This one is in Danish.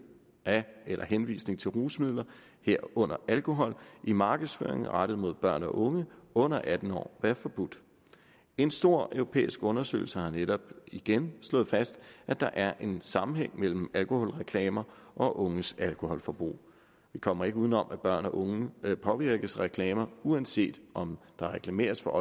af eller henvisning til rusmidler herunder alkohol i markedsføring der er rettet mod børn og unge under atten år være forbudt en stor europæisk undersøgelse har netop igen slået fast at der er en sammenhæng mellem alkoholreklamer og unges alkoholforbrug vi kommer ikke uden om at børn og unge påvirkes af reklamer uanset om der reklameres for